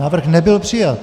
Návrh nebyl přijat.